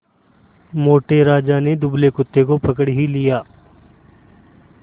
मोटे राजा ने दुबले कुत्ते को पकड़ ही लिया